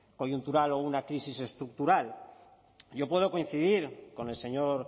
coyuntural o una crisis estructural yo puedo coincidir con el señor